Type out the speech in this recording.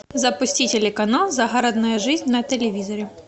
запусти телеканал загородная жизнь на телевизоре